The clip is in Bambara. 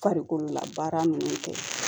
Farikolola baara minnu kɛ